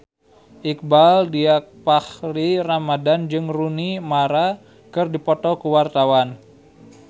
Iqbaal Dhiafakhri Ramadhan jeung Rooney Mara keur dipoto ku wartawan